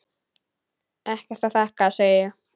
Ekkert að þakka, segi ég.